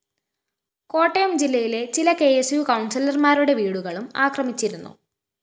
കോട്ടയം ജില്ലയിലെ ചില K S U കൗണ്‍സിലര്‍മാരുടെ വീടുകളും ആക്രമിച്ചിരുന്നു